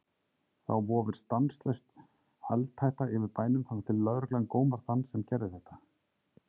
Þá vofir stanslaus eldhætta yfir bænum þangað til lögreglan gómar þann sem gerði þetta.